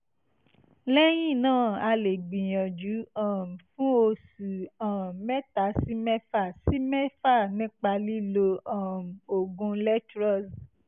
lẹ́yìn náà ẹ lè gbìyànjú um fún oṣù um mẹ́ta sí mẹ́fà sí mẹ́fà nípa lílo um oògùn letroz